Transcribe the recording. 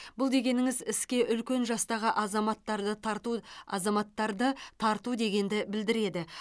бұл дегеніңіз іске үлкен жастағы азаматтарды тарту азаматтарды тарту дегенді білдіреді